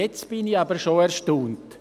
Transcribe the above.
Jetzt bin ich aber schon erstaunt.